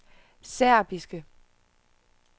serbiske